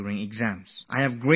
I have a lot of faith in Yoga